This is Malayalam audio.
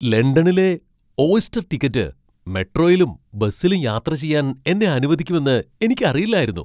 ലണ്ടനിലെ ഓയ്സ്റ്റർ ടിക്കറ്റ് മെട്രോയിലും ബസിലും യാത്ര ചെയ്യാൻ എന്നെ അനുവദിക്കുമെന്ന് എനിക്ക് അറിയില്ലായിരുന്നു.